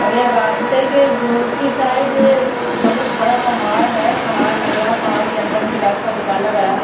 और ये रास्ते के दूसरी साइड बहुत बड़ा पहाड़ है पहाड़ लग रहा है पहाड़ के अंदर से रास्ता निकाला गया है।